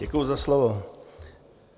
Děkuji za slovo.